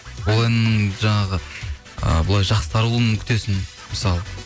ол әннің жаңағы ы былай жақсы таралуын күтесің мысалы